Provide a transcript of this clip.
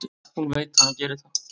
Hún veit að hann gerir það.